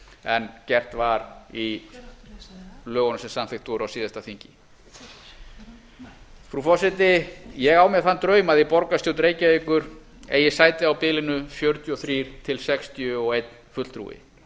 en gert var í lögunum sem samþykkt voru á síðasta þingi frú forseti ég á mér þann draum að í borgarstjórn reykjavíkur eigi sæti á bilinu fjörutíu og þrjú til sextíu og einn fulltrúi